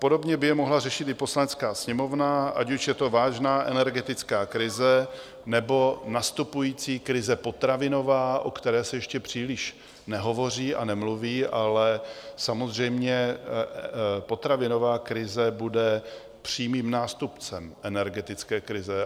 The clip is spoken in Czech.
Podobně by je mohla řešit i Poslanecká sněmovna, ať už je to vážná energetická krize, nebo nastupující krize potravinová, o které se ještě příliš nehovoří a nemluví, ale samozřejmě potravinová krize bude přímým nástupcem energetické krize.